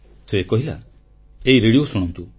ସେ କହିଲା ଏଇ ରେଡ଼ିଓ ଶୁଣନ୍ତୁ